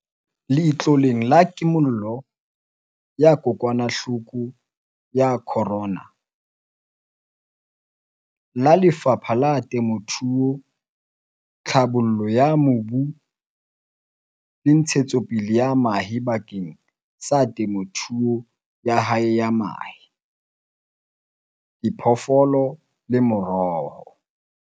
Letloleng la Kimollo ya kokwanahloko ya Corona, COVID-19, la Lefapha la Temothuo, Tlhabollo ya Mobu le Ntshe-tsopele ya Mahae bakeng sa temothuo ya hae ya mahe, diphoofolo le meroho.